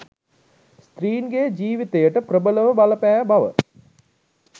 ස්ත්‍රීන්ගේ ජීවිතයට ප්‍රබලව බල පෑ බව